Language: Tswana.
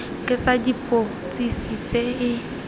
ke tsa dipotsiso tse e